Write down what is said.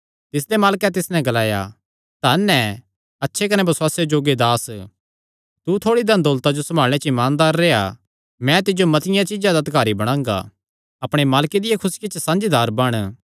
तिसदे मालकैं तिस नैं ग्लाया धन हे अच्छे कने बसुआसे जोग्गे दास तू थोड़ी धन दौलता जो सम्भाल़णे च ईमानदार रेह्आ मैं तिज्जो मतिआं चीज्जां दा अधिकारी बणांगा अपणे मालके दिया खुसिया च साझीदार बण